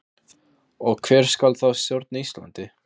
Og hver skal þá stjórna Íslandi?